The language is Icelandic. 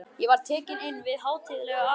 Ég var tekinn inn við hátíðlega athöfn.